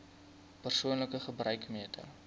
persoonlike gebruik meter